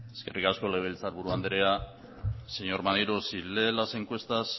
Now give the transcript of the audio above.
eskerrik asko legebiltzarburu andrea señor maneiro si lee las encuestas